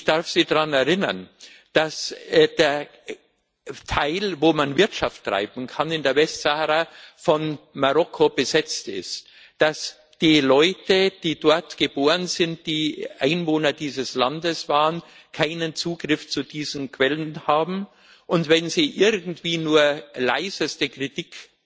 Ich darf Sie daran erinnern, dass der Teil, wo man in der Westsahara Wirtschaft treiben kann, von Marokko besetzt ist, und dass die Leute, die dort geboren sind, die Einwohner dieses Landes waren, keinen Zugriff zu diesen Quellen haben, und wenn sie irgendwie nur leiseste Kritik